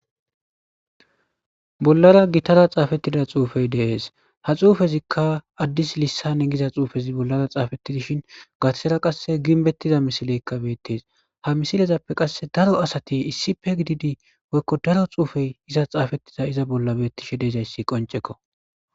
Bollara gitara xaafettida xuufey deees ha xuufezikka addis lissane giza xuufezi bollara xaafettidishin gathera qasse ginbettiza misileykka beettes ha misilezappe qasse daro asati issi pe gididi woykko daro xuufey iza xaafettida iza bolla bettishe deezayssi qoncekko.